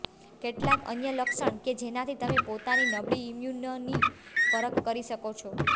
કેટલાક અન્ય લક્ષણ કે જેનાથી તમે પોતાની નબળી ઈમ્યૂનની પરખ કરી શકો છો